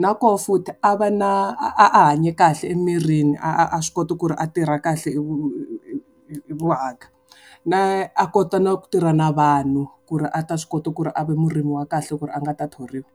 Na koho futhi, a va na a a hanye kahle emirini, a a swi kota ku ri a tirha kahle . Na a kota na ku tirha na vanhu, ku ri a ta swi kota ku ri a va vurimi wa kahle ku ri a nga ta thoriwa.